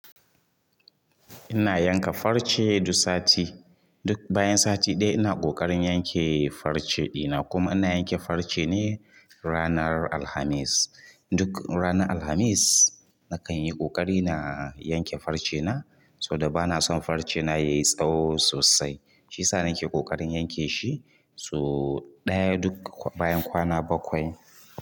Ina yanka farce duk sati. Duk bayan sati ɗaya ina ƙoƙarin yanke farce ɗina. Kuma ina yanke farce ne ranar Alhamis. Duk ranar Alhamis na kan yi ƙoƙari na yanke farcena saboda bana son farcena ya yi tsawo sosai. Shi ya sa na ke ƙoƙarin yanke shi. Sau ɗaya duk bayan kwana bakwai.